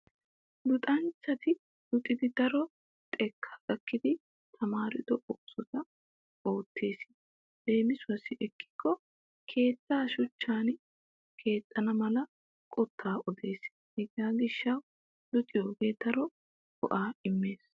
Luxanchchati luxidi daro xekkaa gakkidi tmdaro oosota oottes leemisuwaassi ekkikko keettaa shuchchan keexxana mala qottaa odes. Hegaa gishshawu luxiyogee daro go'aa immes.